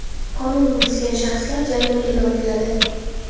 Qonunni buzgan shaxslar jarimaga tortiladi.